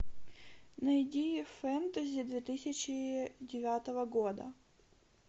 найди фэнтези две тысячи девятого года